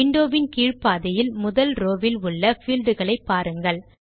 window வின் கீழ் பாதியில் முதல் ரோவ் வில் உள்ள fieldகளை பாருங்கள்